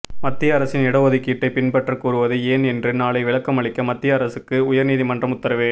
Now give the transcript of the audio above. மத்திய அரசின் இடஒதுக்கீட்டை பின்பற்ற கூறுவது ஏன் என்று நாளை விளக்கமளிக்க மத்திய அரசுக்கு உயர் நீதிமன்றம் உத்தரவு